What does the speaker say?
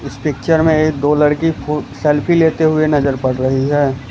इस पिक्चर में ये दो लड़की फो सेल्फी लेते हुए नजर पड़ रही है।